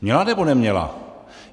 Měla, nebo neměla?